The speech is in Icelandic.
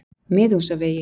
Miðhúsavegi